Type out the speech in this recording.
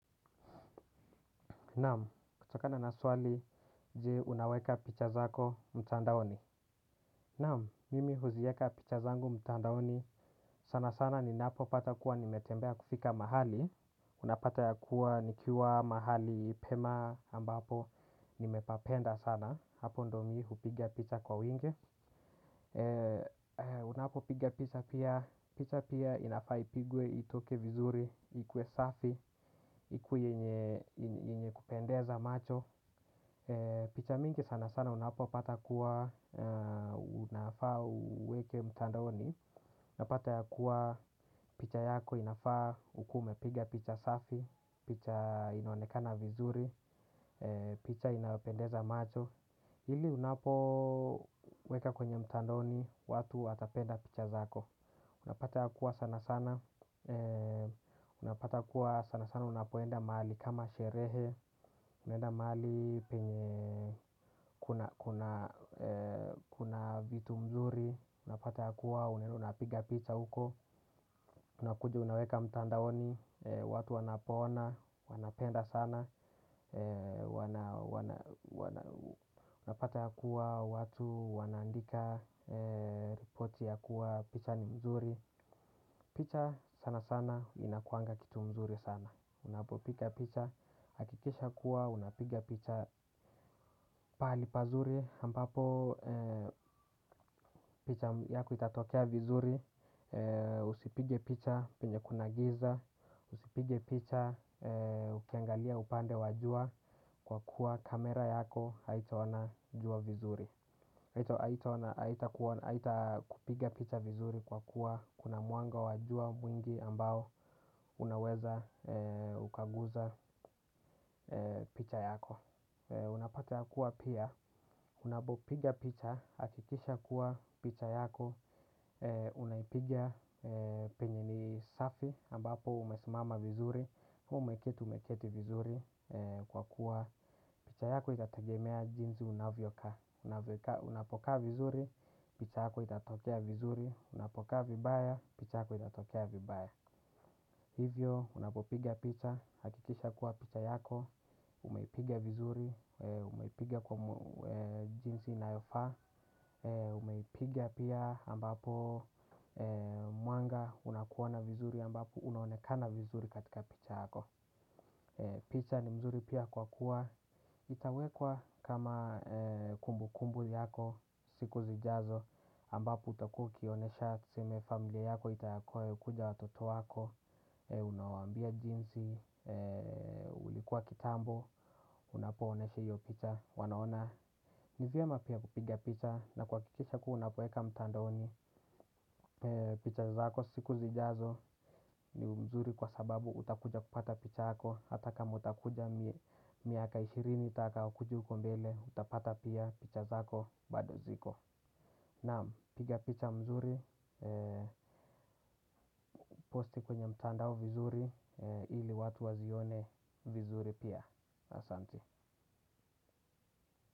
Namu, kutokana na swali je unaweka picha zako mtandaoni. Naamu, mimi huzieka picha zangu mtandaoni sana sana ninapo pata kuwa nimetembea kufika mahali. Unapata yakuwa nikiwa mahali pema ambapo nimepapenda sana. Hapo ndo mii hupigia picha kwa wingi. Unapo piga picha pia. Picha pia inafaa ipigwe itoke vizuri, ikuwe safi, ikuwe yenye kupendeza macho. Picha mingi sana sana unapo pata kuwa unafaa uweke mtandoni, unapata ya kuwa picha yako inafaa ukuwe umepiga picha safi, picha inaonekana vizuri, picha inayopendeza macho, ili unapo weka kwenye mtandaoni, watu watapenda picha zako. Unapata ya kuwa sana sana, unapata kuwa sana sana unapoenda mahali kama sherehe, unaenda mahali penye kuna vitu mzuri, unapata ya kuwa unapiga pizza uko, unakuja unaweka mtandaoni, watu wanapona, wanapenda sana, unapata yakuwa watu wanaandika, ripoti ya kuwa picha ni mzuri. Picha sana sana inakuanga kitu mzuri sana. Unapopiga picha hakikisha kuwa unapiga picha pahali pazuri ambapo picha yako itatokea vizuri. Usipige picha penye kuna giza. Usipige picha ukiangalia upande wa jua kwa kuwa kamera yako haitaona jua vizuri. Haitaona haitakupiga picha vizuri kwa kuwa kuna muanga wa jua mwingi ambao unaweza ukaguza picha yako. Unapatea kuwa pia, unapopiga picha, hakikisha kuwa picha yako. Unaipiga penye ni safi ambapo umesimama vizuri. Umeketi umeketi vizuri kwa kuwa picha yako itatagemea jinzi unavyokaa. Unapokaa vizuri, picha yako itatokea vizuri. Unapokaa vibaya, picha yako itatokea vibaya. Hivyo, unapopiga picha, hakikisha kuwa picha yako, umeipiga vizuri, umeipiga kwa jinsi inayofaa, umeipiga pia ambapo muanga, unakuona vizuri ambapo, unaonekana vizuri katika picha yako. Picha ni mzuri pia kwa kuwa, itawekwa kama kumbu kumbu yako, siku zijazo, ambapo utakuwa ukionesha tuseme familia yako itayakuwa ikuja watoto wako, unawambia jinsi, ulikuwa kitambo, unapooneshe hiyopicha, wanaona. Ni vyema pia kupiga picha na kuwakikisha kuwa unapoeka mtandaoni picha zako siku zijazo ni mzuri kwa sababu utakuja kupata picha yako. Hata kama utakuja miaka ishirini itakayokuja huko mbele utapata pia picha zako bado ziko. Naam piga picha mzuri posti kwenye mtandao vizuri ili watu wazione vizuri pia asanti.